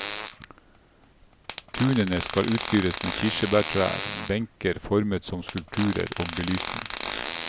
Tunene skal utstyres med kirsebærtrær, benker formet som skulpturer og belysning.